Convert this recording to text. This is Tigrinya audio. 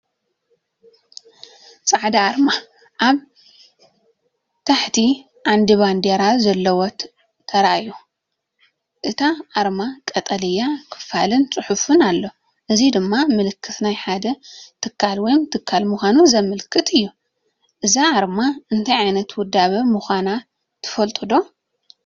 ጻዕዳ ኣርማ ኣብ ታሕቲ ዓንዲ ባንዴራ ዘለዎ ተራእዩ። ኣብታ ኣርማ ቀጠልያ ክፍልን ጽሑፍን ኣሎ፣ እዚ ድማ ምልክት ናይ ሓደ ትካል ወይ ትካል ምዃኑ ዘመልክት እዩ። እዛ ኣርማ እንታይ ዓይነት ውዳበ ምዃና ትፈልጡ ዶ?